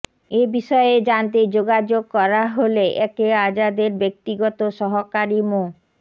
এ বিষয়ে জানতে যোগাযোগ করা হলে একে আজাদের ব্যক্তিগত সহকারী মো